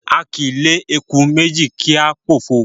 A kì í lé eku méjì kí á pòfo.